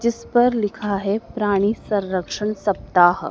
जिस पर लिखा है प्राणी संरक्षण सप्ताह--